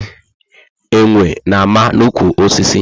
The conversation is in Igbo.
Enwe na ama na ụkwụ osisi